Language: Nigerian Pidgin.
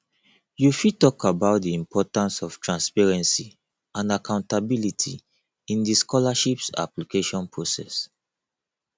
you fit talk about di importance of transparency and accountability in di scholarships application process